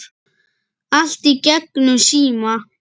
Allt í gegnum síma.